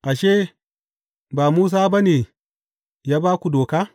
Ashe, ba Musa ba ne ya ba ku Doka?